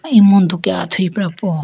emudu ke athuyi pra po.